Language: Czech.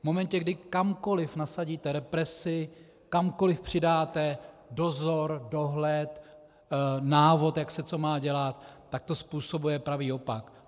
V momentě, kdy kamkoliv nasadíte represi, kamkoliv přidáte dozor, dohled, návod, jak se co má dělat, tak to způsobuje pravý opak.